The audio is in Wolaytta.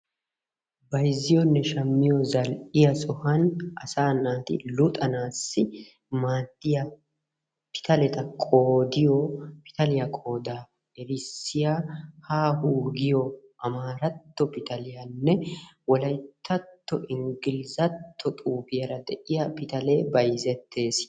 Bayzziyoonne shammiyo zal''iyaa sohuwan asaa naati luxanassi maaddiyaa pitaletta qoodiyoo pitaliya qooda erissiya haa huu giyo Aamaratto pitaliyanne Wolayttatto Inggilizzatto xuufiyaara diyaa pitaale bayzzettees.